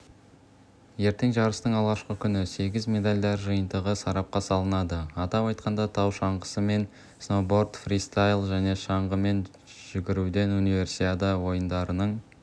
ертең жарыстың алғашқы күні сегіз медальдар жиынтығы сарапқа салынады атап айтқанда тау шаңғысы мен сноуборд фристайл және шаңғымен жүгіруден универсиада ойындарының